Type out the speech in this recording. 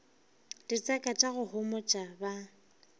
ditseka tša go homotša ba